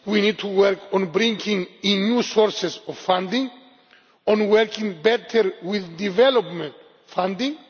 We need to work on bringing in new sources of funding, on working better with development funding.